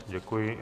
Děkuji.